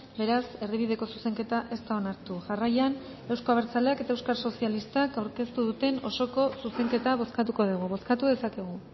beraz erdibideko zuzenketa ez da onartu jarraian euzko abertzaleak eta euskal sozialistak aurkeztu duten osoko zuzenketa bozkatuko dugu bozkatu dezakegu